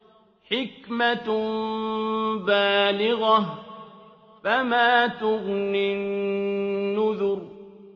حِكْمَةٌ بَالِغَةٌ ۖ فَمَا تُغْنِ النُّذُرُ